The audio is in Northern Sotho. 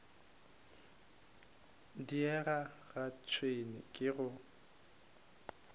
diega ga tšhwene ke go